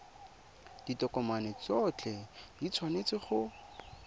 ditokomane tsotlhe di tshwanetse go